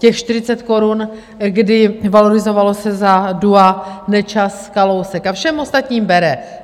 Těch 40 korun, kdy valorizovalo se za dua Nečas - Kalousek, a všem ostatním bere.